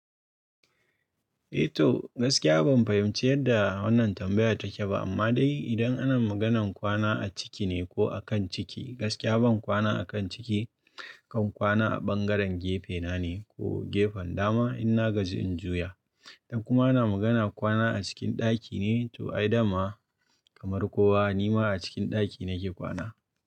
Eh toh gaskiya ban fahimci yadda wannan tambayar take ba amma dai idan ana maganan kwana a ciki ne ko a kan ciki, gaskiya ban kwana a kan ciki kan kwana a ɓangaren gefe na ne ko gefen dama in na gaji in juya. Dan kuma ana magana kwana a cikin ɗaki ne to ai dama kamar kowa ni ma a cikin ɗaki nake kwana.